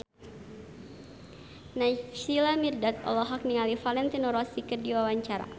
Naysila Mirdad olohok ningali Valentino Rossi keur diwawancara